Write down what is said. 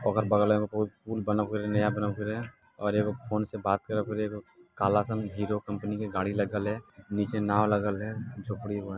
ओकर बगल मे एगो बहुत पुल बनव करे हेय नया बनव करे हेय और एगो फोन से बात करब करे हेय एगो काला सन हीरो कंपनी के गाड़ी लगल हेय नीचे नाव लगल हेय झोपड़ी हेय वहां ।